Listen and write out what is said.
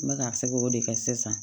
N bɛ ka se k'o de kɛ sisan